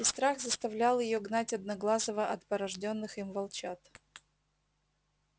и страх заставлял её гнать одноглазого от порождённых им волчат